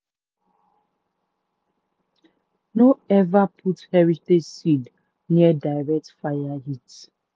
guinea corn dey last better if e still dey for stalk.